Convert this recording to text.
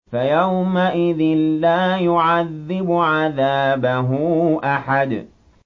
فَيَوْمَئِذٍ لَّا يُعَذِّبُ عَذَابَهُ أَحَدٌ